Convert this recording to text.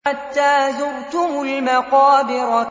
حَتَّىٰ زُرْتُمُ الْمَقَابِرَ